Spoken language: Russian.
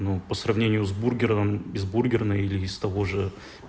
ну по сравнению с бургером из бургерной или из того же